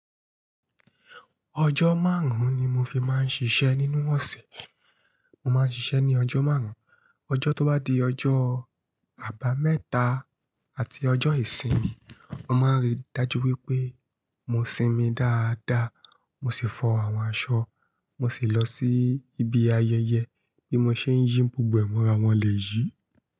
Ọjọ́ márùn-ún ni mo fi máa ń ṣiṣẹ́ nínú ọ̀sẹ̀. Mo máa ń ṣiṣẹ́ ní ọjọ́ márùn-ún, ọjọ́ tó bá di ọjọ́ àbámẹ́ta àti ọjọ́ ìsinmi, mo máa ń rí dájú wípé mo sinmi dáadáa, mo sì fọ àwọn aṣọ, mo sì lọ sí ibi ayẹyẹ bí mo ṣe ń yí gbogbo ẹ̀ mọ́ra wọn lèyí.